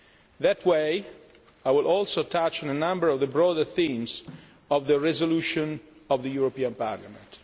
In that way, I will also touch on a number of the broader themes of the resolution of the European Parliament.